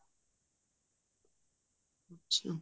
ਅੱਛਿਆ